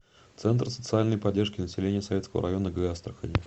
центр социальной поддержки населения советского района г астрахани